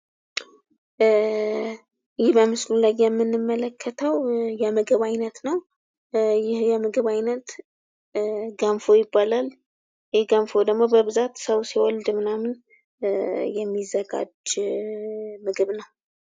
ይህ በምስሉ ላይ የምንመለከተው የምግብ አይነት ነው ። ይህ የምግብ አይነት ገንፎ ይባላል ። ይህ ገንፎ ደግሞ በብዛት ሰው ሲወልድ ምናምን የሚዘጋጅ ምግብ ነው ።